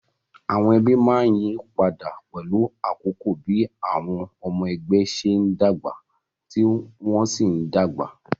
Àwọn ẹbí máa ń yí padà pẹ̀lú àkókò bí àwọn ọmọ ẹgbẹ́ ṣe ń dàgbà tí wọ́n sì ń dàgbà